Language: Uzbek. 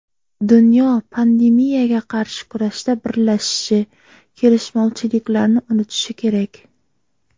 Dunyo pandemiyaga qarshi kurashda birlashishi, kelishmovchiliklarni unutishi kerak.